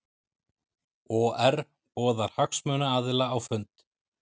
OR boðar hagsmunaaðila á fund